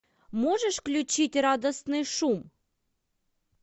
можешь включить радостный шум